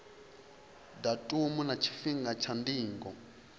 datumu na tshifhinga tsha ndingo